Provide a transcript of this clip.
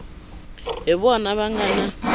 hi vona va nga na